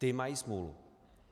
Ty mají smůlu.